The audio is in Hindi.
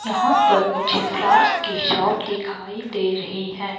यहां पर मुझे फ्लावर्स की शॉप दिखाई दे रही हैं।